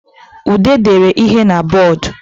Ude dere ihe n'bodo